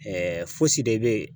fosi de bɛ ye.